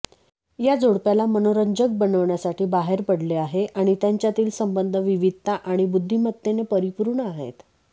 या जोडप्याला मनोरंजक बनण्यासाठी बाहेर पडले आहे आणि त्यांच्यातील संबंध विविधता आणि बुद्धिमत्तेने परिपूर्ण आहेत